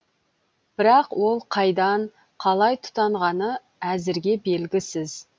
бірақ ол қайдан қалай тұтанғаны әзірге белгісіз